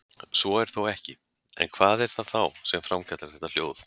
Svo er þó ekki, en hvað er það þá sem framkallar þetta hljóð?